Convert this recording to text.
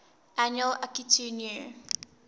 annual akitu new